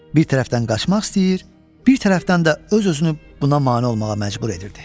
Bir tərəfdən qaçmaq istəyir, bir tərəfdən də öz-özünü buna mane olmağa məcbur edirdi.